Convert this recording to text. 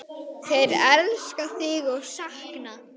Þeir elska þig og sakna.